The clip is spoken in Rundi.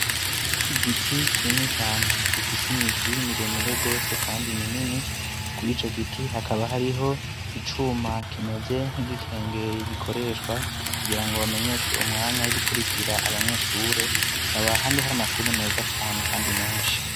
Igiti kini cane gifise imizi miremire gose kandi minini kuri ico giti hakaba hariho icuma kimeze ry'ikengeri gikoreshwa kugira ngo bamenyeshe umwanya w'ibikurikira abanyeshure kaba handi hari amashuri meza cyane kandi menshi.